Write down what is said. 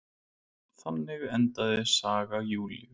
Þannig endaði saga Júlíu.